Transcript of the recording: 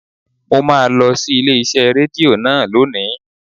Mo máa lọ sí ilé iṣẹ́ Rédíò náà lónìí.